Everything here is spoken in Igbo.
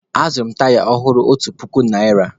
Azụrụ m taya ọhụrụ otu puku naịra.